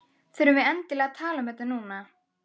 Þurfum við endilega að tala um þetta núna?